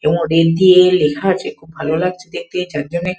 এবং ডেট দিয়ে লেখা আছে ভালো লাগছে দেখতে চারজনে।